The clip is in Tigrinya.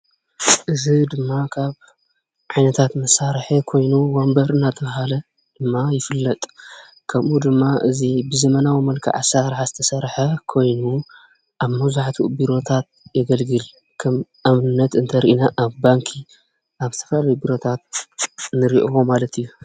እዚ ድማ ካብ ዓይነታት መሳርሒ ኮይኑ ወንበር እናተባህለ ድማ ይፍለጥ፡፡ ከምኡ ድማ እዚ ብዘመናዊ መልክዕ ኣሰራርሓ ዝተሰርሐ ኮይኑ ኣብ መብዛሕትኡ ቢሮታት የገልግል፡፡ ከም ኣብነት እንተሪኢና ኣብ ባንኪ ኣብ ዝተፈላለዩ ቢሮታት ንሪኦ ማለት እዩ፡፡